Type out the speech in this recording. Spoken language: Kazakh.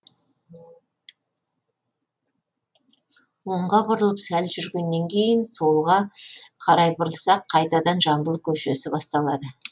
оңға бұрылып сәл жүргеннен кейін солға қарай бұрылсақ қайтадан жамбыл көшесі басталады